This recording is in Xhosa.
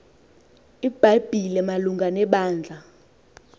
ibhayibhile malunga nebandla